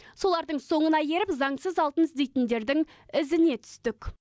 солардың соңына еріп заңсыз алтын іздейтіндердің ізіне түстік